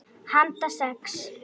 Handa sex